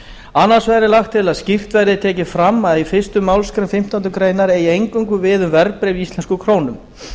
annars vegar er lagt til að skýrt verði tekið fram að fyrstu málsgrein fimmtándu grein eigi eingöngu við um verðbréf í íslenskum krónum